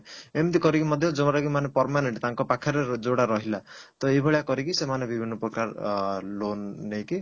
ଏମତି କରିକି ମଧ୍ୟ ଯାଉମାନେ କି permanent ତାଙ୍କ ପାଖରେ ଯଉଟା ରହିଲା ତ ଏଇ ଭଳିଆ କରିକି ସେମାନେ ବିଭିନ୍ନ ପ୍ରକାର ଅ loan ନେଇକି